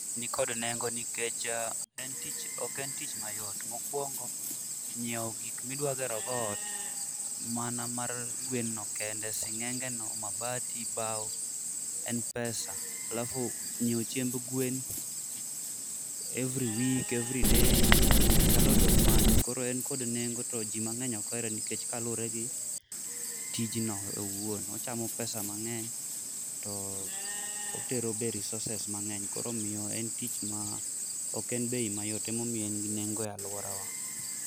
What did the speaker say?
Nikod nengo nikech en tich ok en tich mayo, mokuongo nyiewo gik midwa gerogo ot mana mar gwen no kendo sing'enge no, mabati, bao en pesa alafu nyiewo chiemb gwen every week, every day there is a lot of money koro en kod nengo to ji mang'eny ok ohere nikech kaluwore gi tijno owuon. Ochamo pesa mang'eny to be otero be resources mang'eny koro omiyo en tich ma ok en bei mayot emo miyo en gi nengo e aluorawa.